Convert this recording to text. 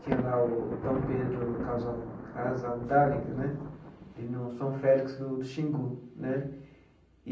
Tinha lá o Dom Pedro Casal Casaldáliga né, e no São Félix do do Xingu né.